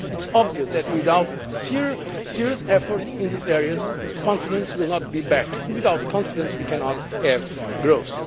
It is obvious that, without serious efforts in these areas, confidence will not come back and without confidence, we cannot have growth.